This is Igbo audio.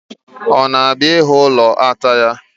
Ọ na-abịa ịhụ ụlọ ata ya?